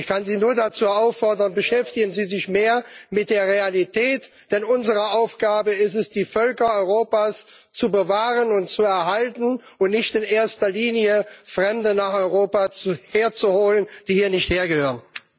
Ich kann Sie nur dazu auffordern Beschäftigen Sie sich mehr mit der Realität, denn unsere Aufgabe ist es, die Völker Europas zu bewahren und zu erhalten und nicht in erster Linie, Fremde nach Europa herzuholen, die hier nicht hergehören.